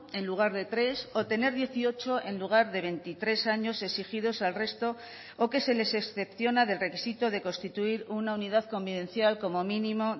en lugar de tres o tener dieciocho en lugar de veintitrés años exigidos al resto o que se les excepciona del requisito de constituir una unidad convivencial como mínimo